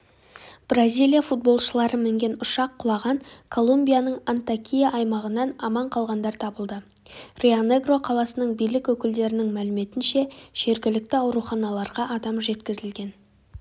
бразилия футболшылары мінген ұшақ құлаған колумбияның антьокия аймағынан аман қалғандар табылды рионегро қаласының билік өкілдерінің мәліметінше жергілікті ауруханаларға адам жеткізілген